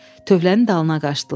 Tövlənin dalına qaçdılar.